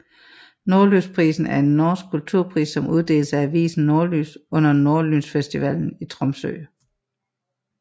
Nordlysprisen er en norsk kulturpris som uddeles af avisen Nordlys under Nordlysfestivalen i Tromsø